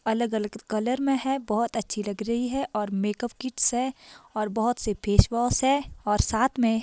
अलग अलग कलर में है बहोत अच्छी लग रही है और मेकअप किट्स है और बहोत से फेस वॉश है और साथ में--